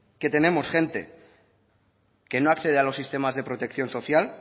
que tenemos gente que no accede a los sistemas de protección social